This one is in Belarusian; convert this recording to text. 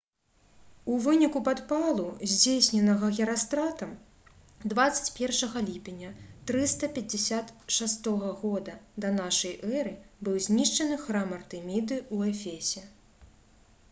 у выніку падпалу здзейсненага герастратам 21 ліпеня 356 г да нашай эры быў знішчаны храм артэміды ў эфесе